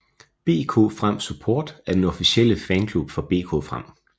BK Frem Support er den officielle fanklub for BK Frem